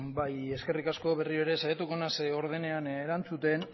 eskerrik asko berriro ere saiatuko naiz ordenean erantzuten